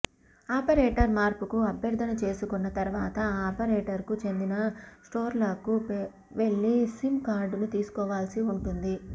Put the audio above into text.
operator మార్పుకు అభ్యర్థన చేసుకున్న తర్వాత ఆ ఆపరేటర్కు చెందిన స్టోర్లకు వెళ్లి సిమ్ కార్డును తీసుకోవాల్సి ఉంటుంది